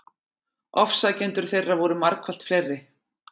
Ofsækjendur þeirra voru margfalt fleiri.